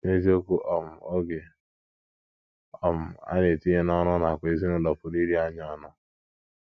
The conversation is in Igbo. N’eziokwu um, oge um a na - etinye n’ọrụ nakwa n’ezinụlọ pụrụ iri anyị ọnụ.